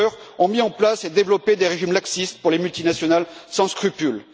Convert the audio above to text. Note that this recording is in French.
Juncker, ont mis en place et développé des régimes laxistes pour les multinationales sans scrupules.